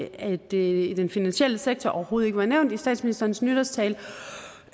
at det i den finansielle sektor overhovedet ikke var nævnt i statsministerens nytårstale